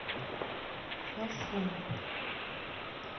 фошань